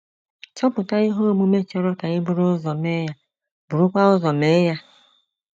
Chọpụta ihe omume chọrọ ka e buru ụzọ mee ya, burukwa ụzọ mee ya.